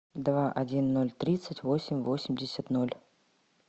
два один ноль тридцать восемь восемьдесят ноль